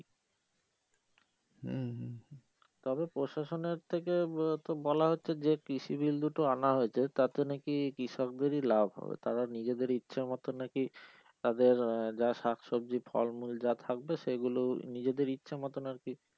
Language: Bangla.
উম তবে প্রশাসনের থেকে তো বলা হচ্ছে যে কৃষি বিল দুটো আনা হয়েছে তাতে নাকি কৃষকদেরই লাভ হবে তারা নিজেদের ইচ্ছেমত নাকি তাদের আহ যা শাকসব্জি ফলমূল তা থাকবে সেগুলোই নিজেদের ইচ্ছেমত আরকি।